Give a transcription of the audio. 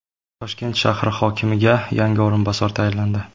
Toshkent shahri hokimiga yangi o‘rinbosar tayinlandi.